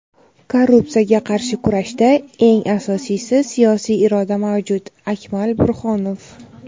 Korrupsiyaga qarshi kurashda eng asosiysi siyosiy iroda mavjud – Akmal Burxonov.